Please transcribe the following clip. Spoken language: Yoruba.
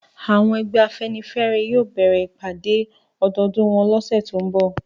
Àwọn ẹgbẹ́ afẹ́nifẹ́re yóò bẹ̀rẹ̀ ìpàdẹ́ ọdọọdún wọn lọ́sẹ̀ tó ń bọ̀